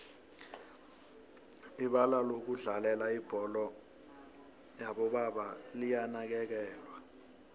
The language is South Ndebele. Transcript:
ibalalokudlalela ibholo yobo baba liyanakekelwa